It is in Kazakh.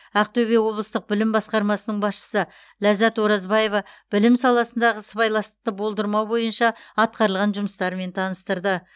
ақтөбе облыстық білім басқармасының басшысы ләззат оразбаева білім саласындағы сыбайластықты болдырмау бойынша атқарылған жұмыстармен таныстырды